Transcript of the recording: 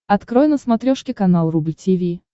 открой на смотрешке канал рубль ти ви